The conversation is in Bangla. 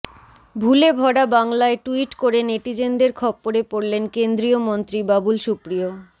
ভুলে ভরা বাংলায় ট্যুইট করে নেটিজেনদের খপ্পরে পড়লেন কেন্দ্রীয় মন্ত্রী বাবুল সুপ্রিয়